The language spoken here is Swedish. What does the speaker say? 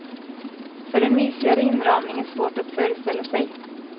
För en mysigare inramning är svårt att föreställa sig.